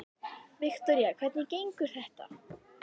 Viktoría: Hvernig gengur þetta?